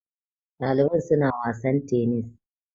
Ɗalibai suna wasan tenis